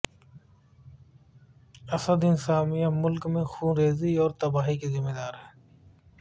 اسد انتظامیہ ملک میں خونریزی اور تباہی کی ذمہ دار ہے